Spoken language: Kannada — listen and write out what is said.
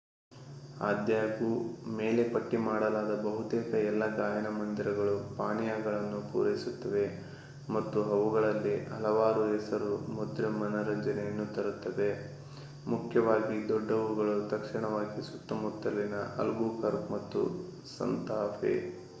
ಆದಾಗ್ಯೂ ಮೇಲೆ ಪಟ್ಟಿ ಮಾಡಲಾದ ಬಹುತೇಕ ಎಲ್ಲಾ ಗಾಯನ ಮoದಿರಗಳು ಪಾನೀಯಗಳನ್ನು ಪೂರೈಸುತ್ತವೆ ಮತ್ತು ಅವುಗಳಲ್ಲಿ ಹಲವಾರು ಹೆಸರು-ಮುದ್ರೆ ಮನರಂಜನೆಯನ್ನು ತರುತ್ತವೆ ಮುಖ್ಯವಾಗಿ ದೊಡ್ಡವುಗಳು ತಕ್ಷಣವಾಗಿ ಸುತ್ತಮುತ್ತಲಿನ ಅಲ್ಬುಕರ್ಕ್ ಮತ್ತು ಸಾಂತಾಫೆ